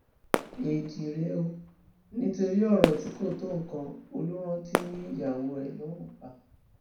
éèdì rèé o nítorí ọrọ tí kò tó nǹkan olùrántí yín ìyàwó ẹ lọrun pa